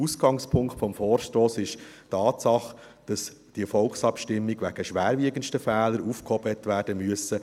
Ausgangspunkt des Vorstosses ist die Tatsache, dass diese Volksabstimmung wegen schwerwiegendster Fehler aufgehoben werden musste.